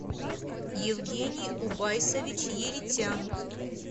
евгений убайсович еритян